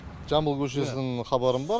жамбыл көшесінің хабарым бар